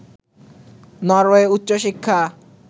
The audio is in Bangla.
নরওয়ে উচ্চশিক্ষা